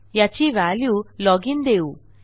याची value log in देऊ